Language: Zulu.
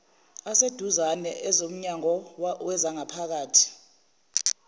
aseduzane ezomnyango wezangaphakathi